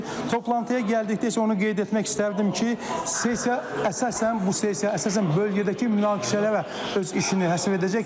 Toplantıya gəldikdə isə onu qeyd etmək istərdim ki, sessiya əsasən bu sessiya əsasən bölgədəki münaqişələrə öz işini həsr edəcək,